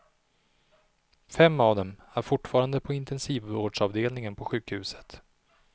Fem av dem är fortfarande på intesivvårdsavdelningen på sjukhuset.